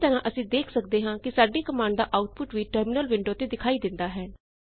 ਇਸੇ ਤਰਹ ਅਸੀਂ ਦੇਖ ਸਕਦੇ ਹਾਂ ਕਿ ਸਾਡੀ ਕਮਾਂਡ ਦਾ ਆਉਟਪੁਟ ਵੀ ਟਰਮਿਨਲ ਵਿੰਡੋ ਤੇ ਦਿਖਾਈ ਦਿੰਦਾ ਹੈ